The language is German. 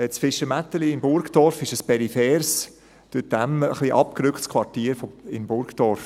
Das Fischermätteli in Burgdorf ist ein peripheres, durch die Emme ein bisschen abgerücktes Quartier in Burgdorf.